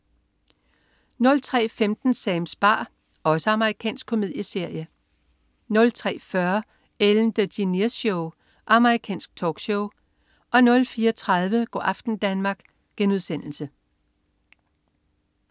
03.15 Sams bar. Amerikansk komedieserie 03.40 Ellen DeGeneres Show. Amerikansk talkshow 04.30 Go' aften Danmark*